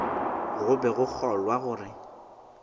go be go kgolwa gore